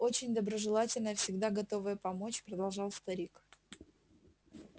очень доброжелательная всегда готовая помочь продолжал старик